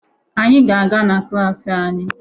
Anyị ga-aga na klaasị anyị